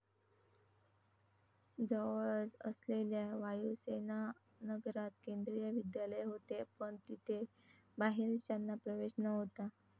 जवळच असलेल्या वायूसेनानगरात केंद्रीय विद्यालय होते, पण तिथे बाहेरच्यांना प्रवेश नव्हता.